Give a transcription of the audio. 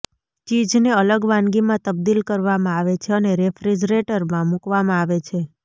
ચીઝને અલગ વાનગીમાં તબદીલ કરવામાં આવે છે અને રેફ્રિજરેટરમાં મૂકવામાં આવે છે